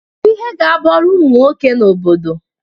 Kedu ihe ga-abụ ọrụ ụmụ nwoke na obodo?